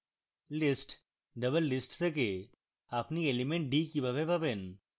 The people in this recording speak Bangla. list doublelist থেকে আপনি element d কিভাবে পাবেন